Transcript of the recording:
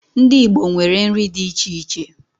Ndi Igbo nwere nri di iche iche